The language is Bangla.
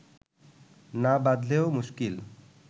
না বাঁধলেও মুশকিল